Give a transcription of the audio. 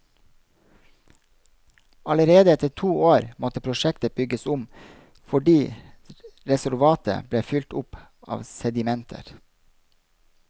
Allerede etter to år måtte prosjektet bygges om fordi reservoaret ble fylt opp av sedimenter.